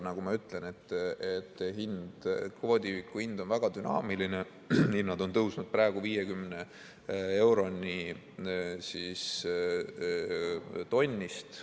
Nagu ma ütlesin, kvoodiühiku hind on väga dünaamiline, hinnad on tõusnud praegu 50 euroni tonnist.